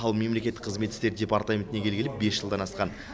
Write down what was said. ал мемлекеттік қызмет істері департаментіне келгелі бес жылдан асқан